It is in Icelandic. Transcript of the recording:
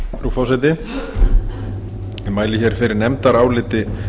frú forseti ég mæli fyrir nefndaráliti